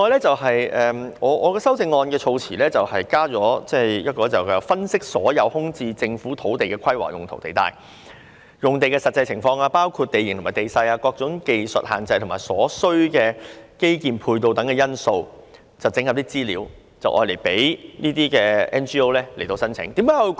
另外，我的修正案措辭加入"分析所有空置政府土地的規劃用途地帶、用地實際情況包括地形和地勢、各種技術限制或所需基建配套等因素並整合相關資料後"，供 NGO 申請。